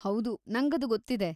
ಹೌದು, ನಂಗದು ಗೊತ್ತಿದೆ.